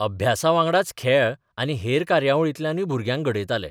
अभ्यासाबांगडाच खेळ आनी हेर कार्यावळींतल्यानय भुरग्यांक घडयताले.